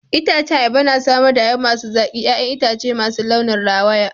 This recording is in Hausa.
Itacen ayaba na samar da ayaba masu zaki, 'ya'yan itace masu launin rawaya.